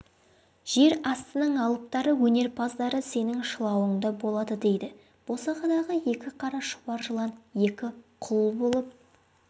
жер астының алыптары өнерпаздары сенің шылауыңда болады дейді босағадағы екі қара шұбар жылан екі құл болып